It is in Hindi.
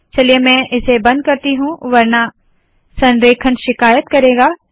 चलिए मैं इसे बंद करती हूँ वरना संरेखण शिकायत करेगा